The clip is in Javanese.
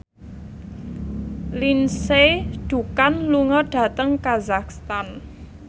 Lindsay Ducan lunga dhateng kazakhstan